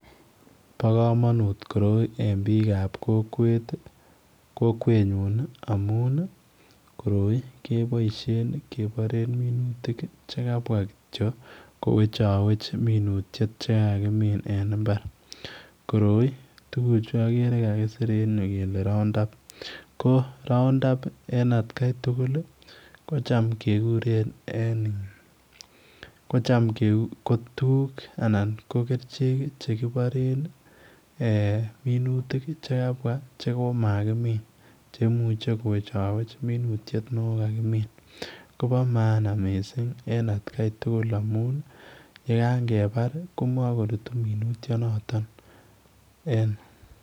Bo kamanut koroi en biik ab kokweet nyuun amuun ii koroi kebaisheen kebaen minutik ché kabwa kityo ko wechaweech minutiet che kakakimin en mbar ,koroi tuguuk juu agere tuguuk che kakisiir en kole [Round up] ko [round up] en at gai tugul kocham kegureen anan ko tuguuk che kiboisien kibaren minutik che kabwaa che komakimin che imuchei kowechaweech minutiet nekokakimin Kobo maana missing en at gai tugul amuun ye kagebar kobakorutu minutiet notoon en.